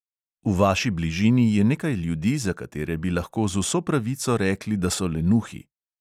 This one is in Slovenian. V vaši bližini je nekaj ljudi, za katere bi lahko z vso pravico rekli, da so lenuhi.